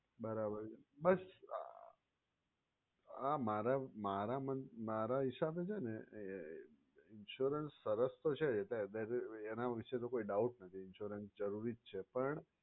બરાબર બસ આ મારા મારા મારા હિશાબે છે ને insurance સરસ તો છે એના વિશે તો કઈ doubt નથી insurance જરૂરી જ છે પણ